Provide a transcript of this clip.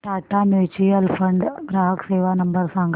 Tata mutual fund ग्राहक सेवा number सांगा